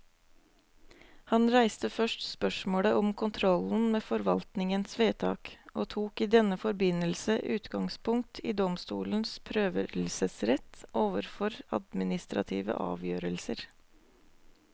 Han reiste først spørsmålet om kontrollen med forvaltningens vedtak, og tok i denne forbindelse utgangspunkt i domstolenes prøvelsesrett overfor administrative avgjørelser.